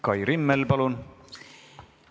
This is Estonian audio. Kai Rimmel, palun!